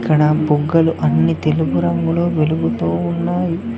అక్కడ బుగ్గలు అన్ని తెలుపు రంగులో వెలుగుతూ ఉన్నాయి.